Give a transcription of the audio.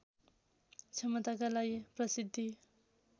क्षमताका लागि प्रसिद्धि